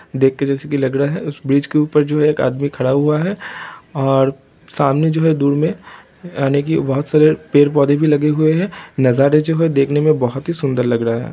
देख के जैसे की लग रहा है उस ब्रिज के ऊपर जो है एक आदमी खड़ा हुआ है और सामने जो है दूर में यानी की बहोत सारे पेड़-पौधे भी लगे हुए है नज़ारे जो है देखने मे बहोत ही सुंदर लग रहा है।